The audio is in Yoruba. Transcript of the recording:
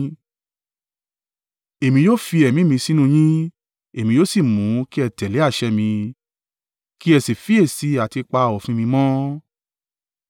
Èmi yóò fi ẹ̀mí mi sínú yín, èmi yóò sì mú ki ẹ tẹ̀lé àṣẹ mi, kí ẹ sì fiyèsí àti pa òfin mi mọ́.